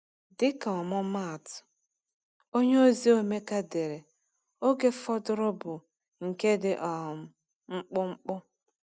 Dịka ọmụmaatụ, onyeozi Emeka dere: “Oge fọdụrụ bụ nke dị um mkpụmkpụ.”